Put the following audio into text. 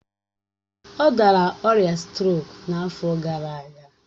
Ọ dara ọrịa strok n'afọ gara aga